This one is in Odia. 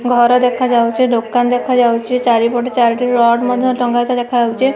ଘର ଦେଖାଯାଉଛି ଦୋକାନ ଦେଖାଯାଉଛି ଚାରିପଟେ ଚାରଟି ରଡ ମଧ୍ଯ ଟଙ୍ଗା ହେଇଥିବାର ଦେଖାଯାଉଛି।